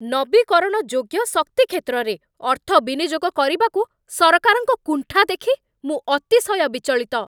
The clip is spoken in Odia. ନବୀକରଣ ଯୋଗ୍ୟ ଶକ୍ତି କ୍ଷେତ୍ରରେ ଅର୍ଥ ବିନିଯୋଗ କରିବାକୁ ସରକାରଙ୍କ କୁଣ୍ଠା ଦେଖି ମୁଁ ଅତିଶୟ ବିଚଳିତ।